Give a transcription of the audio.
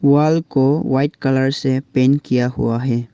दीवाल को white colour से पेंट किया हुआ है।